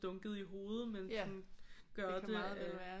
Dunket i hovedet men sådan gør det